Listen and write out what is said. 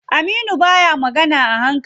Aminu baya magana a hankali.